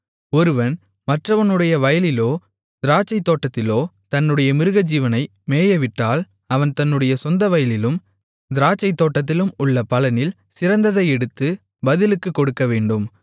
ஒருவன் மற்றவனுடைய வயலிலோ திராட்சைத்தோட்டத்திலோ தன்னுடைய மிருகஜீவனை மேயவிட்டால் அவன் தன்னுடைய சொந்தவயலிலும் திராட்சைத்தோட்டத்திலும் உள்ள பலனில் சிறந்ததை எடுத்து பதிலுக்குக் கொடுக்கவேண்டும்